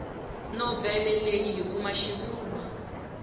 novhele leyi hi kuma xivulwa